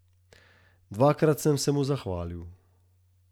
Dvakrat sem se mu zahvalil.